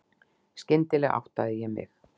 Skyndilega áttaði ég mig.